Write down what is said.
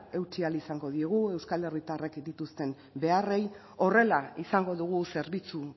eutsi ahal izango diegu euskal herritarrek dituzten beharrei horrela izango dugu zerbitzu